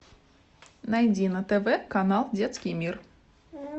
найди на тв канал детский мир